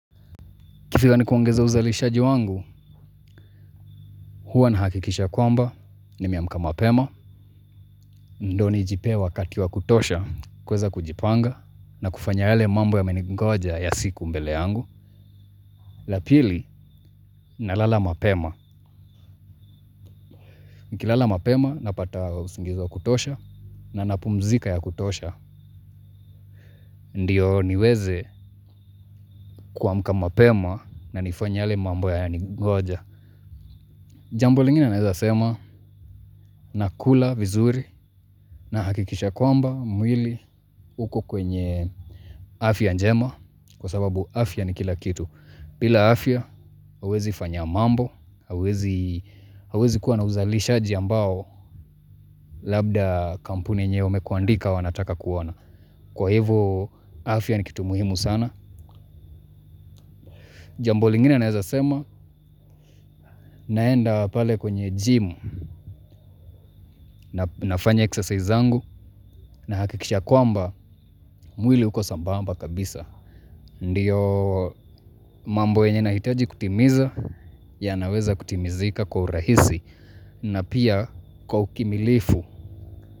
Kifila ni kuongeza uzalishaji wangu, huwa na hakikisha kwamba nimeamka mapema. Ndo ni jipe wakati wa kutosha kuweza kujipanga na kufanya yale mambo yameningoja ya siku mbele yangu. Lapili, nalala mapema. Nkilala mapema napata usingizi wa kutosha na napumzika ya kutosha. Ndiyo niweze kuamka mapema na nifanye yale mambo yameningoja. Jambo lingine naweza sema na kula vizuri na hakikisha kwamba mwili uko kwenye afya njema kwa sababu afya ni kila kitu. Bila afya huwezi fanya mambo, hauwezi kuwa na uzalisha ambao labda kampuni nyeo wamekuandika wanataka kuona. Kwa hivo afya ni kitu muhimu sana. Jambo lingine naeza sema naenda pale kwenye gym na nafanya exercise zangu nahakikisha kwamba mwili uko sambamba kabisa. Ndiyo mambo yenye nahitaji kutimiza yanaweza kutimizika kwa urahisi na pia kwa ukimilifu.